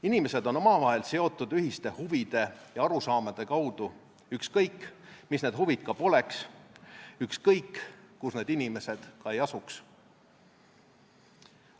Inimesed on omavahel seotud ühiste huvide ja arusaamade kaudu, ükskõik, mis need huvid ka poleks, ükskõik, kus need inimesed ka ei asuks.